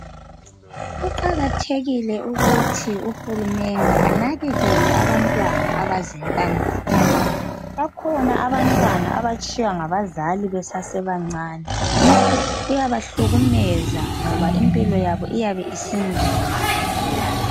Kuqakathekile ukuthi uHulumende anakekele abantwana abazintandane. Bakhona abantwana abatshiywa ngabazali besasebancane. Kuyabahlukumeza ngoba impilo yabo iyabe isinzima kakhulu.